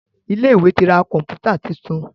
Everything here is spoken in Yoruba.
Ilé ìwé tí rá Kọ̀ǹpútà títún.